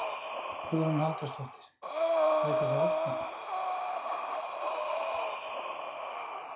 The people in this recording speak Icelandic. Hvaða, hvaða möguleikar eru fyrir þau?